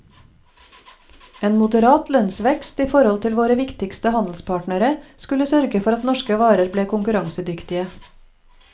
En moderat lønnsvekst i forhold til våre viktigste handelspartnere skulle sørge for at norske varer ble konkurransedyktige.